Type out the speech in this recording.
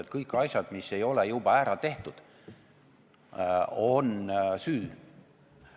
Kas kõik asjad, mis ei ole juba ära tehtud, on süü?